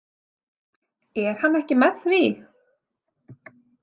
Er hann ekki með því?